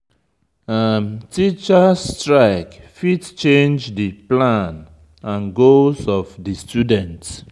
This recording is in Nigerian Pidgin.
Teachers strike fit change di plan and goals of di student